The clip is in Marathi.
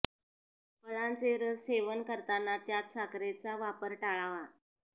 फळांचे रस सेवन करताना त्यात साखरेचा वापर टाळावा